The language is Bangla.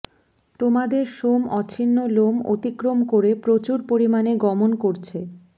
তোমাদের সোম অছিন্ন লোম অতিক্রম করে প্রচুর পরিমাণে গমন করছে